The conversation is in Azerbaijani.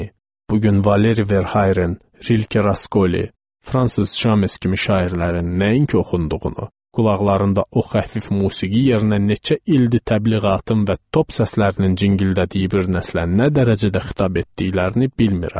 Bu gün Valeri Verhaeren, Rilke, Rakoli, Fransiz James kimi şairlərin nəinki oxunduğunu, qulaqlarında o xəfif musiqi yerinə neçə ildir təbliğatın və top səslərinin cingildədiyi bir nəslə nə dərəcədə xitab etdiklərini bilmirəm.